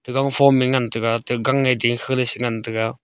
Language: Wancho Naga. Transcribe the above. to gangphome ngan taiga ta gange dingkhe ley shingan taiga.